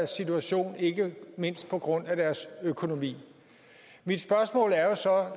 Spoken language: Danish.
situation ikke mindst på grund af deres økonomi mit spørgsmål er jo så